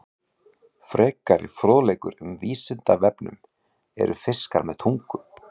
Frekari fróðleikur um Vísindavefnum: Eru fiskar með tungu?